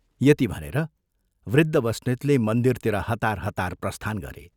यति भनेर वृद्ध बस्नेतले मन्दिरतिर हतार हतार प्रस्थान गरे।